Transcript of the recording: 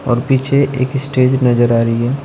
और पीछे एक स्टेज नजर आ रही है।